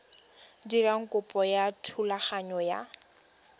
dira kopo ya thulaganyo ya